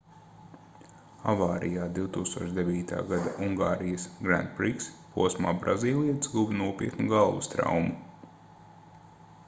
avārijā 2009. gada ungārijas grand prix posmā brazīlietis guva nopietnu galvas traumu